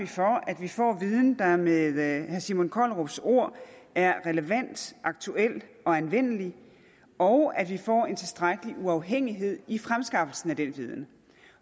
for at vi får viden der med herre simon kollerups ord er relevant aktuel og anvendelig og at vi får en tilstrækkelig uafhængighed i fremskaffelsen af den viden